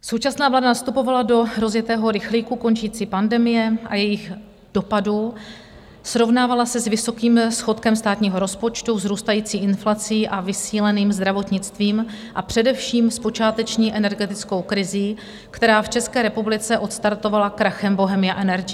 Současná vláda nastupovala do rozjetého rychlíku končící pandemie a jejích dopadů, srovnávala se s vysokým schodkem státního rozpočtu, vzrůstající inflací a vysíleným zdravotnictvím a především s počáteční energetickou krizí, která v České republice odstartovala krachem Bohemia Energy.